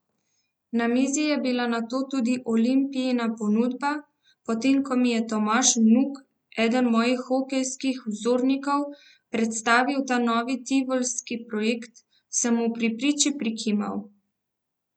Na mizi je bila nato tudi Olimpijina ponudba, potem ko mi je Tomaž Vnuk, eden mojih hokejskih vzornikov, predstavil ta novi tivolski projekt, sem mu pri priči prikimal.